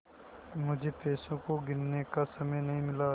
मुझे पैसों को गिनने का समय नहीं मिला